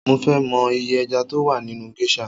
Mo ń fẹ mọ iye ẹja tó wà nínú géṣà